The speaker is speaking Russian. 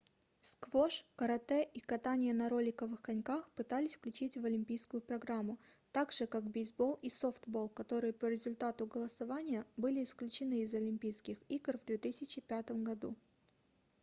сквош карате и катание на роликовых коньках пытались включить в олимпийскую программу также как бейсбол и софтбол которые по результату голосования были исключены из олимпийских игр в 2005 году